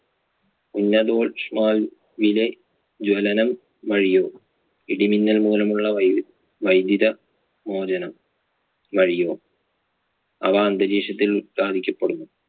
ഉന്നദോഷ്മാവിലെ ജ്വലനം വഴിയോ ഇടിമിന്നൽ മൂലമുള്ള വൈദ്യു~വൈദ്യുത മോചനം വഴിയോ അവ അന്തരീക്ഷത്തിൽ ഉത്പാദിപ്പിക്കപ്പെടുന്നു.